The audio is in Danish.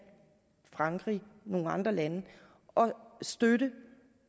frankrig og nogle andre lande at støtte